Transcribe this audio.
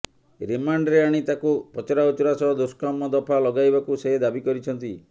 ରିମାଣ୍ଡରେ ଆଣି ତାକୁ ପଚରାଉଚରା ସହ ଦୁଷ୍କର୍ମ ଦଫା ଲଗାଇବାକୁ ସେ ଦାବି କରିଛନ୍ତି